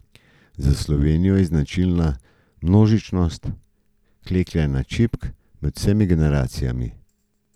Za Slovenijo je značilna množičnost klekljanja čipk med vsemi generacijami.